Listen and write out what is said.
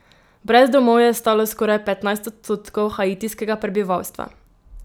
Brez domov je ostalo skoraj petnajst odstotkov haitijskega prebivalstva.